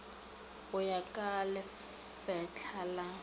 go ya ka lefetla la